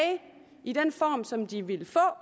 i den form som de ville få